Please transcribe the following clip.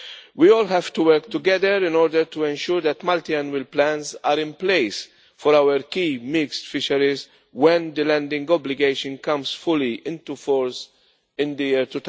We all have to work together in order to ensure that multi annual plans are in place for our key mixed fisheries when the landing obligation comes fully into force in the year